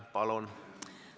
Palun!